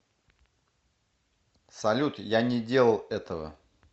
салют я не делал этого